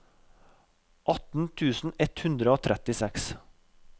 atten tusen ett hundre og trettiseks